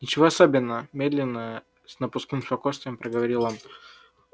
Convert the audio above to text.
ничего особенного медленно с напускным спокойствием проговорил он